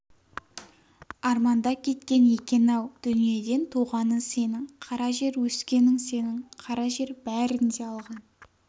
арманда кеткен екен-ау дүниеден туғаның сенің қара жер өскенің сенің қара жер бәрін де алған